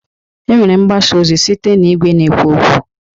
E nwere mgbasa ozi site n'igwe na-ekwu okwu.